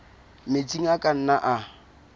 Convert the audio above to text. metsi a ka nnang a